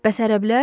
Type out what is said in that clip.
Bəs ərəblər?